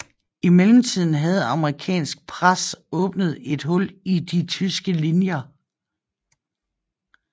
I mellemtiden havde amerikansk pres åbnet et hul i de tyske linjer